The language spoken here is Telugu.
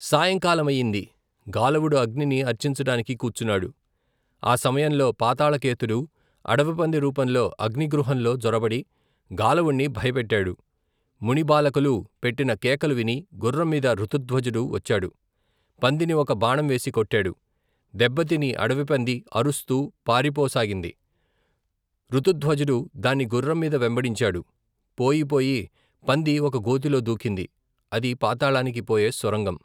సాయంకాలమయింది గాలవుడు అగ్నిని అర్చించటానికి కూచున్నాడు, ఆ సమయంలో, పాతాళకేతుడు, అడవి పంది రూపంలో అగ్నిగృహంలో జొరబడి గాలవుణ్ణి భయపెట్టాడు, మునిబాలకులు పెట్టిన కేకలు విని, గుర్రంమీద ఋతుధ్వజుడు వచ్చాడు, పందిని ఒక బాణంవేసి కొట్టాడు, దెబ్బతిని అడవి పంది అరుస్తూ పారిపోసాగింది, ఋతుధ్వజుడు, దాన్ని గుర్రం మీద వెంబడించాడు, పోయిపోయి పంది ఒక గోతిలో దూకింది, అది పాతాళానికి పోయే సొరంగం.